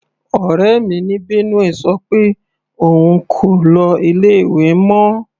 Ọ̀rẹ́ mi ní Benue sọ pé òun kò lọ ilé ìwé mọ.